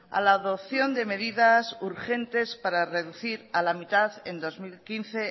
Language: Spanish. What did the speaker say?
a la adopción de medidas urgente para reducir a la mitad en dos mil quince